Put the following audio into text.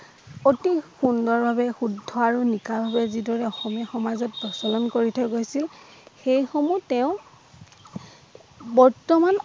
অতি সুন্দৰ ভাবে শুদ্ধ আৰু নিকা বাবে যিদৰে অসমীয়া সমাজত প্ৰচলন কৰি থৈ গৈছিল সেই সমূহ তেওঁ বৰ্তমান